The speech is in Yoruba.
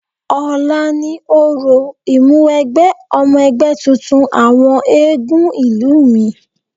Ọ̀la ni orò ìmúwẹgbẹ́ ọmọ ẹgbẹ́ tuntun àwọn eégún ìlú mi.